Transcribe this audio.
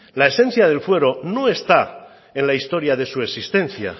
la esencia del fuero no está en la historia de su existencia